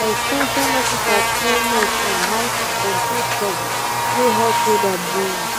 our ex ten sion officer train us on how to control pests wey hot weather bring.